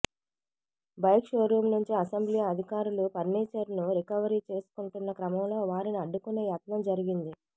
bike showroom నుంచి assembly అధికారులు ఫర్నీచర్ను రికవరీ చేసుకుంటున్న క్రమంలో వారిని అడ్డుకునే యత్నం జరిగింది